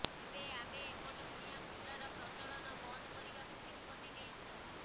ଏବେ ଆମେ ଏକଟଙ୍କିଆ ମୁଦ୍ରାର ପ୍ରଚଳନ ବନ୍ଦ କରିବାକୁ ନିଷ୍ପତ୍ତି ନେଉଛୁ